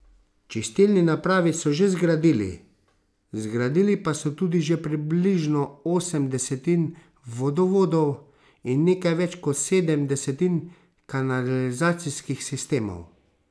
Čistilni napravi so že zgradili, zgradili pa so tudi že približno osem desetin vodovodov in nekaj več kot sedem desetin kanalizacijskih sistemov.